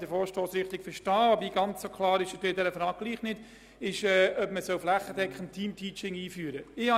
Der Vorstoss ist nicht ganz klar bezüglich der Frage, ob man flächendeckend Teamteaching einführen soll.